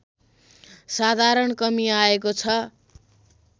साधारण कमी आएको छ